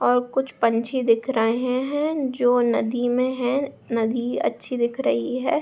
और कुछ पंछी दिख रहें हैं जो नदी में हैं। नदी अच्छी दिख रही है।